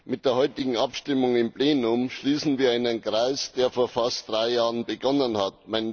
Mit der heutigen Abstimmung im Plenum schließen wir einen Kreis, der vor fast drei Jahren begonnen hat.